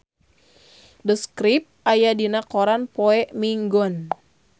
The Script aya dina koran poe Minggon